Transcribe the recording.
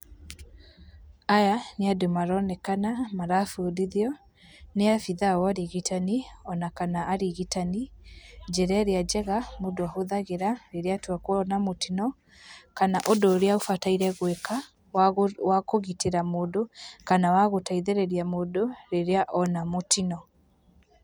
Aya nĩ andũ maronekana marabundithio, ni abithaa wa ũrigitani ona kana arigitani, njĩra ĩrĩa njega mũndũ ahũthĩraga rĩrĩa atua kuona mũtino kana ũndũ ũrĩa ũbataire gũĩka wakũgitĩra mũndũ kana wa gũteithĩrĩria mũndũ rĩrĩa ona mũtino.